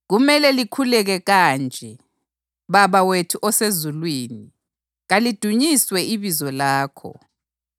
“Kumele likhuleke kanje: ‘Baba wethu osezulwini, kalidunyiswe ibizo lakho,